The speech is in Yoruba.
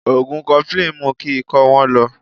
Ògùn Kọfilínì mú kí ikọ́ wọ́n lọ